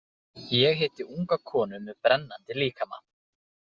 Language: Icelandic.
Ég hitti unga konu með brennandi líkama.